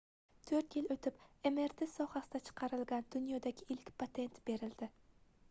toʻrt yil oʻtib mrt sohasida chiqarilgan dunyodagi ilk patent berildi